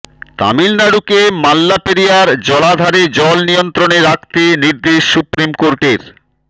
তামিলনাড়ুকে মাল্লাপেরিয়ার জলাধারের জল নিয়ন্ত্রণে রাখতে নির্দেশ সুপ্রিম কোর্টের